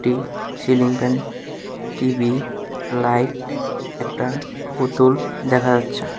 এই ceiling fan TV light একটা পুতুল দেখা যাচ্ছে।